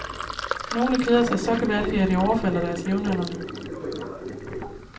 Nogle keder sig så gevaldigt, at de overfalder deres jævnaldrende.